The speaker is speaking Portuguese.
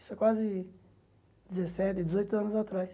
Isso é quase dezessete, dezoito anos atrás.